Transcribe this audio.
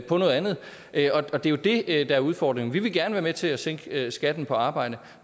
på noget andet og det er jo det der er udfordringen vi vil gerne være med til at sænke skatten på arbejde